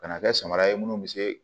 Ka na kɛ samara ye minnu bɛ se